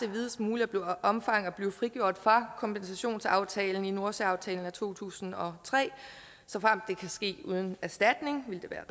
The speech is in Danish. i videst muligt omfang at blive frigjort fra kompensationsaftalen i nordsøaftalen af to tusind og tre og såfremt det kan ske uden erstatning ville det være